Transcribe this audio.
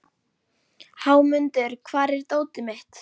Hámundur, hvar er dótið mitt?